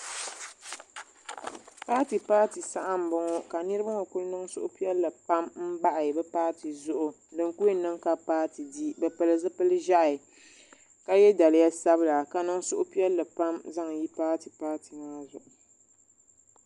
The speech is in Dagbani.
paati paati saha m-bɔŋɔ ka niriba ŋɔ kuli niŋ suhupiɛlli pam m-bahi bɛ paati zuɣu din kuli yɛn niŋ ka bɛ paati di bɛ pili zupil' ʒɛhi ka ye daliya sabila ka niŋ suhupiɛlli pam zaŋ yi paati paati maa zuɣu.